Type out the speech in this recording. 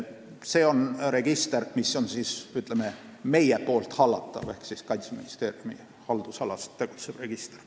See on register, mis on meie hallatav, see on Kaitseministeeriumi haldusalas olev register.